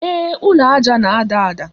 Ee, ụlọ aja na-ada ada.